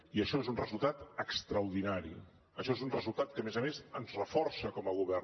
i això és un resultat extraordinari això és un resultat que a més a més ens reforça com a govern